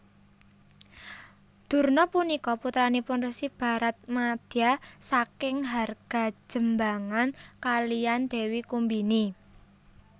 Durna punika putranipun Resi Baratmadya saking Hargajembangan kaliyan Dewi Kumbini